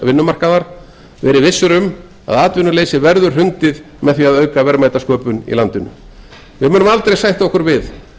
vinnumarkaðar verið vissir um að atvinnuleysi verður hrundið með því að auka verðmætasköpun í landinu við munum aldrei sætta okkur við